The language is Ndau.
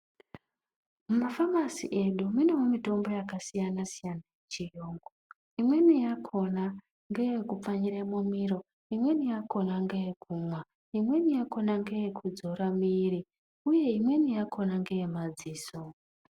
Mumafamasi edu munewo mitombo yakasiyana -siyana yechiyungu. Imweni yakhona ngeyekupfanyire mumiro, imweni yakhona nyeyekumwa , imweni yakhona ngeyekudzora mwiri uye imweni yakhona ngeyemadziso.